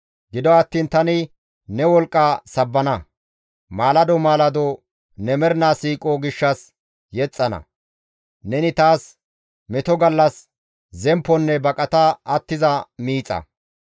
Gido attiin tani ne wolqqa sabbana; maalado maalado ne mernaa siiqo gishshas yexxana. Neni taas meto gallas zempponne baqata attiza miixa.